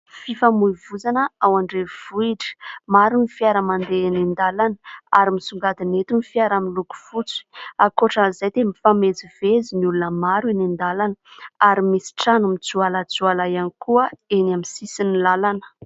Fifamoivoizana ao andrenivohitra, maro ny fiara mandeha eny an-dalana ary misongadina eto ny fiara miloko fotsy, ankoatran'izay dia mifamezivezy ny olona maro eny an-dalana ary misy trano mijoalajoala ihany koa eny amin'ny sisin'ny lalana.